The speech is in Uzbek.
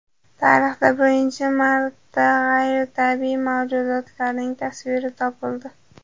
Tarixda birinchi marta g‘ayritabiiy mavjudotlarning tasviri topildi.